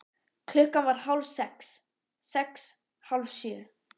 Klukkan varð hálf sex. sex. hálf sjö.